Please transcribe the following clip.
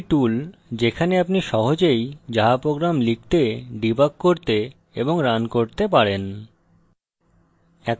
এটি একটি tool যেখানে আপনি সহজেই java programs লিখতে ডিবাগ করতে এবং রান করতে পারেন